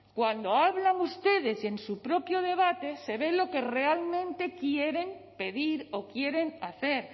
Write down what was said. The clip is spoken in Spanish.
cuando hablan ustedes y en su propio debate se ve lo que realmente quieren pedir o quieren hacer